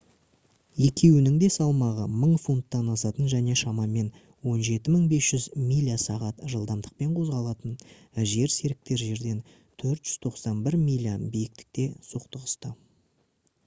екеуінің де салмағы 1000 фунттан асатын және шамамен 17 500 миля/сағат жылдамдықпен қозғалатын жерсеріктер жерден 491 миля биіктікте соқтығысты